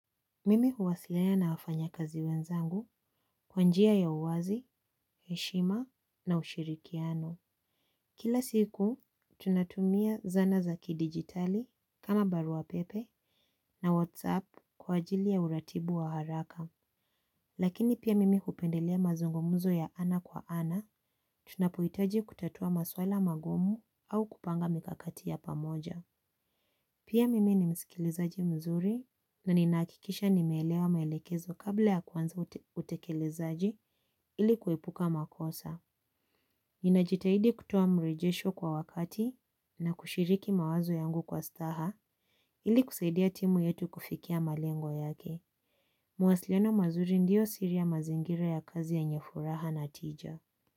Mimi huwasiliana na wafanyakazi wenzangu kwa njia ya uwazi, heshima na ushirikiano. Kila siku, tunatumia zana za kidijitali kama barua pepe na whatsapp kwa ajili ya uratibu wa haraka. Lakini pia mimi hupendelea mazungumzo ya ana kwa ana, tunapohitaji kutatua maswala magumu au kupanga mikakati ya pamoja. Pia mimi ni msikilizaji mzuri na ninahakikisha nimelewa maelekezo kabla ya kuanza utekelezaji ili kuepuka makosa. Nina jitahidi kutuwa mrejesho kwa wakati na kushiriki mawazo yangu kwa staha ili kusaidia timu yetu kufikia malengo yake. Mawasiliano mazuri ndiyo siri ya mazingira ya kazi yenye furaha na tija.